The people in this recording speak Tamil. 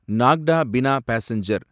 நாக்டா பினா பாசெஞ்சர்